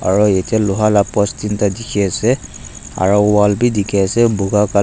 aro yate loha la post teenta dikhiase aro wall bi dikhiase buka colo--